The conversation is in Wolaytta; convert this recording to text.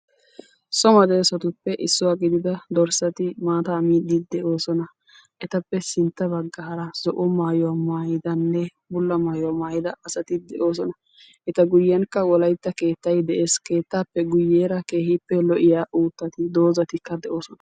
So medoossatuppe issuwa gidida dorssati maataa miiddi de'oosona. Etappe sintta baggaara zo'o maayuwa maayidanne bulla maayuwa maayida asati de'oosona. Eta guyyenkka wolaytta keettayi de"es. Keettaappe guyyeera keehippe lo'iya uuttati doozatikka de'oosona.